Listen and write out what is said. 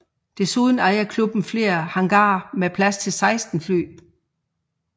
Desuden ejer klubben flere hangarer med plads til 16 fly